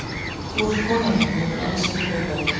Þú ert konan mín og ég vil alls ekki breyta því.